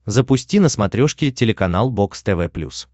запусти на смотрешке телеканал бокс тв плюс